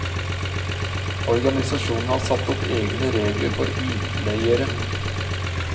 Organisasjonen har satt opp egne regler for utleiere.